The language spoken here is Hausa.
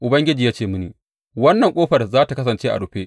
Ubangiji ya ce mini, Wannan ƙofar za tă kasance a rufe.